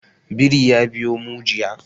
Biri ya biyo mu jiya.